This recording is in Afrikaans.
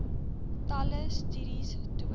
talle studies toon